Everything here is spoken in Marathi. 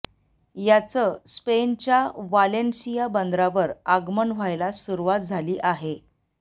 याचं स्पेनच्या वालेन्सिया बंदरावर आगमन व्हायला सुरुवात झाली आहे